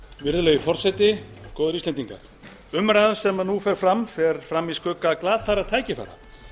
virðulegi forseti góðir íslendingar umræðan sem nú fer fram fer fram í skugga glataðra tækifæra